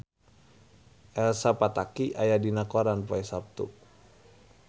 Elsa Pataky aya dina koran poe Saptu